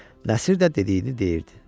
Nəsir də dediyini deyirdi.